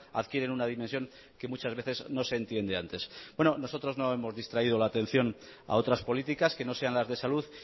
adquieren una dimensión que muchas veces no se entiende antes nosotros no hemos distraído la atención a otras políticas que no sean las de salud